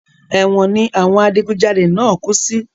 Èwọ̀n ni àwọn adigun jalè náà kú sí